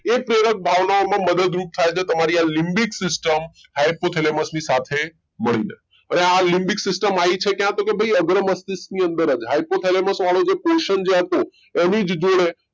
એ પ્રેરક ભાવના ઓ માં મદદ રૂપ થાય છે તમારી આ લીબીક systemhypothalamus ની સાથે મળીને આ લીબીક system આવી ક્યાં છે તો ભાઈ અગ્રમસ્તિષ્ક ની અંદર hypothalamus વાળો જે portion જે હતો એની જ અંદર